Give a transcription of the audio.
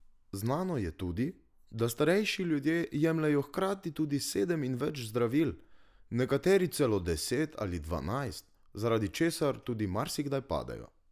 Znano je tudi, da starejši ljudje jemljejo hkrati tudi sedem in več zdravil, nekateri celo deset ali dvanajst, zaradi česar tudi marsikdaj padejo.